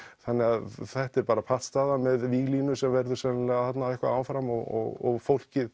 þannig að þetta er bara pattstaða með víglínu sem verður sennilega þarna eitthvað áfram og fólkið